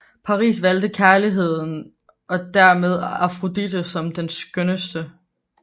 Paris valgte kærligheden og dermed Afrodite som den skønneste